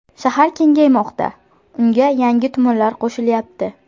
Shahar kengaymoqda, unga yangi tumanlar qo‘shilyapti.